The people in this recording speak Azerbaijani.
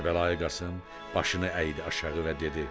Kərbəlayı Qasım başını əydi aşağı və dedi: